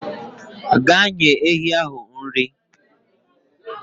Gaa nye ehi ahụ nri.